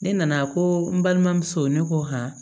Ne nana ko n balimamuso ne ko han